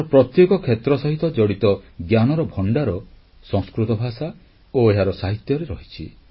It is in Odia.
ଜୀବନର ପ୍ରତ୍ୟେକ କ୍ଷେତ୍ର ସହ ଜଡ଼ିତ ଜ୍ଞାନର ଭଣ୍ଡାର ସଂସ୍କୃତ ଭାଷା ଓ ଏହାର ସାହିତ୍ୟରେ ରହିଛି